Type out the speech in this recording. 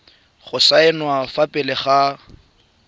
go saenwa fa pele ga